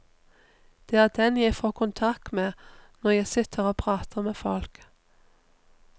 Det er den jeg får kontakt med når jeg sitter og prater med folk.